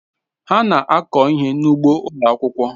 Ha na-akụ ihe n'ugbo ụlọ akwụkwọ.